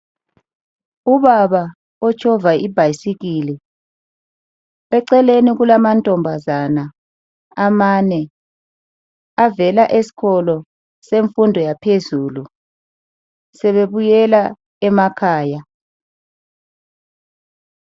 Ubaba otshova ibhayisikili. Eceleni kulamantombazana amane avela esikolo semfundo yaphezulu, sebebuyela emakhaya.